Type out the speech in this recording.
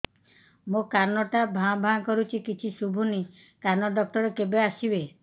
ମୋ କାନ ଟା ଭାଁ ଭାଁ କରୁଛି କିଛି ଶୁଭୁନି କାନ ଡକ୍ଟର କେବେ ଆସିବେ